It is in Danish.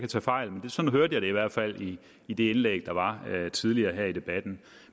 tage fejl men sådan hørte jeg det i hvert fald i det indlæg der var her tidligere i debatten